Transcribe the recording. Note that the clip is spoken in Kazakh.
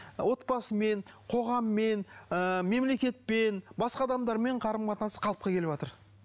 отбасымен қоғаммен ы мемлекетпен басқа адамдармен қарым қатынасы қалыпқа келіватыр